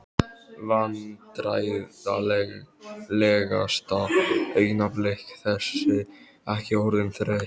Vandræðalegasta augnablik: Þessi ekki orðin þreytt?